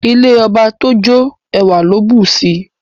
Ilé ọba tójó ẹwà ló bùsi